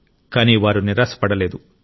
కానీ వారు నిరాశపడలేదు